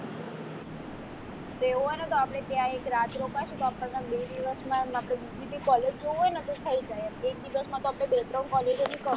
તો એવું હોય ને તો આપણે ત્યાં એક રાત રોકાશું તો આપણને બે દિવસ માં આપણે બીજી બી college જોવી હોય ને તો થઈ જાય એમ એક દિવસમાં તો આપણે બે ત્રણ college ની